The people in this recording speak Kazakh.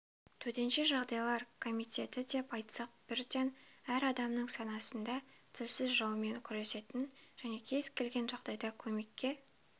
төтенше жағдайлар комитеті деп айтсақ бірден әр адамның санасында тілсіз жаумен күресетін және кез-келген жағдайда көмекке